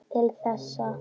Til þessa.